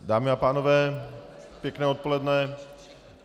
Dámy a pánové, pěkné odpoledne.